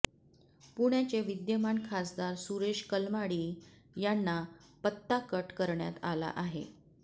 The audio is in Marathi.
पुण्याचे विद्यमान खासदार सुरेश कलमाडी यांना पत्ता कट करण्यात आला आहे